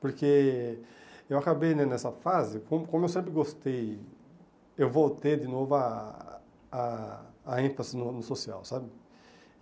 Porque eu acabei, né nessa fase, como como eu sempre gostei, eu voltei de novo a a a ênfase no no social, sabe?